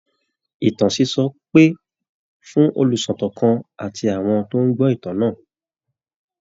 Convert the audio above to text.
Ìtàn sísọ pè fún olùsọ̀tàn kan àti àwọn tó ń gbọ́ ìtàn náà